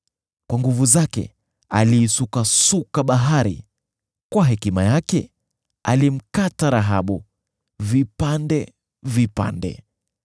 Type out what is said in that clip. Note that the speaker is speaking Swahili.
Kwa nguvu zake aliisukasuka bahari; kwa hekima yake alimkata Rahabu vipande vipande.